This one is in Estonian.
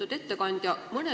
Lugupeetud ettekandja!